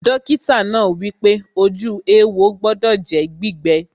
Dọ́kítà náà wípé, ojú éwo gbọdọ̀ jẹ́ gbígbẹ